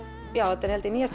þetta er held ég níunda